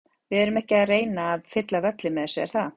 Við erum ekki að reyna að fylla völlinn með þessu, er það?